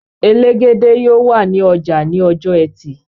Elegede yóò wà ní ọjà ní ọjọ ẹtì